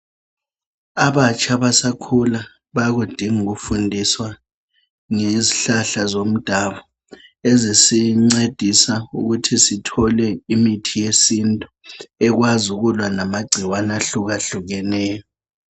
Abatsha abasakhula bayakudinga ukufundiswa ngezihlahla zomdabu ezisincedisa ukuthi sithole imithi yesintu ekwazi ukulwa lamagcikwane ahlukahlukeneyo.